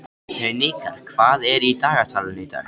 Hnikar, hvað er í dagatalinu í dag?